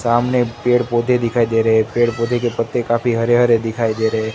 सामने पेड़ पौधे दिखाई दे रहे है पेड़ पौधे के पत्ते काफी हरे हरे दिखाई दे रहे--